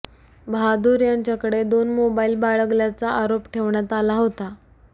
बहादूर यांच्याकडे दोन मोबाईल बाळगल्याचा आरोप ठेवण्यात आला होता